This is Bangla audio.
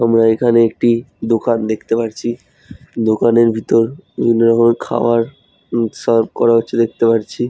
আমরা এখানে একটি দোকান দেখতে পারছি দোকানের ভিতর বিভিন্ন রকমের খাবার ম সার্ভ করা হচ্ছে দেখতে পাচ্ছি।